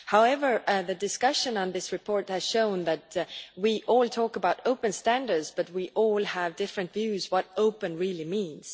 However, the discussion on this report has shown that we all talk about open standards but we all have different views about what open' really means.